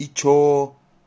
и что